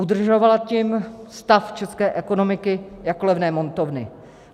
Udržovala tím stav české ekonomiky jako levné montovny.